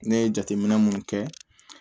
Ne ye jateminɛ mun kɛ